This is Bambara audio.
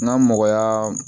N'a mɔgɔya